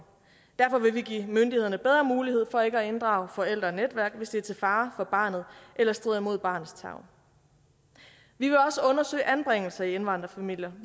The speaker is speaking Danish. derfor vil vi give myndighederne bedre mulighed for ikke at inddrage forældre og netværk hvis det er til fare for barnet eller strider imod barnets tarv vi vil også undersøge anbringelse i indvandrerfamilier